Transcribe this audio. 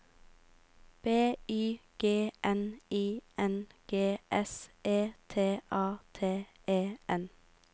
B Y G N I N G S E T A T E N